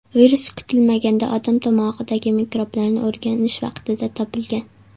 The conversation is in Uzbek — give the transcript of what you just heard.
Virus kutilmaganda odam tomog‘idagi mikroblarni o‘rganish vaqtida topilgan.